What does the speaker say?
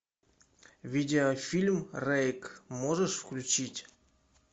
видеофильм рейк можешь включить